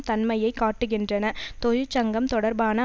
தன்மையை காட்டுகின்றன தொழிற்சங்கம் தொடர்பான